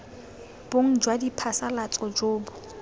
bong jwa diphasalatso jo bo